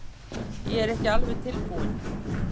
Ég er ekki alveg tilbúinn.